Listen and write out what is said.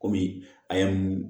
Kɔmi a ye mun